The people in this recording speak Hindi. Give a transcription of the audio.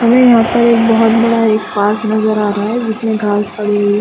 हमें यहाँ पर एक बहुत बड़ा एक पार्क नजर आ रहा है जिसमे घास उगी हुई हैं |